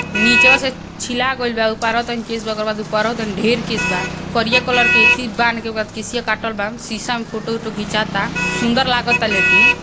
निचवा से छिला गैल बा। उपरावा तनी केस बा। ओकरा बाद उपरावा तनी ढेर केस बा। करिया कलर के एथि बांध के ओकर केसिया काटल बा। सीसा में फोटो ओटो घीचाता। सुन्दर लागता लेकिन।